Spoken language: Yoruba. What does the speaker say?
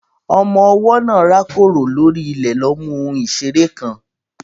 Ọmọ ọwọ́ náà rákòrò lórí ilẹ̀ lọ mú ohun ìṣeré kan.